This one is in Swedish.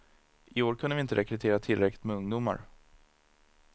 I år kunde vi inte rekrytera tillräckligt med ungdomar.